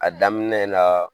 A daminɛ la